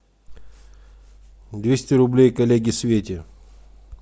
двести рублей коллеге свете